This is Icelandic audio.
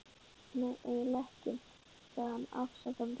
Nei, eiginlega ekki, sagði hann afsakandi.